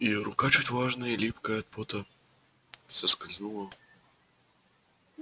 её рука чуть влажная и липкая от пота соскользнула